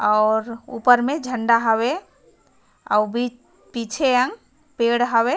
और ऊपर में झंडा हावे और बी पीछे या पेड़ हावे।